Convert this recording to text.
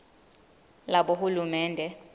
labohulumende